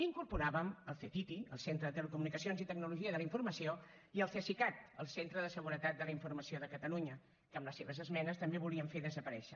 incorporàvem el ctti el centre de telecomunicacions i tecnologia de la informació i el cesicat el centre de seguretat de la informació de catalunya que amb les seves esmenes també volien fer desaparèixer